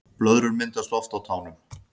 Blöðrur myndast oft á tánum